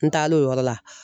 N taar'o yɔrɔ la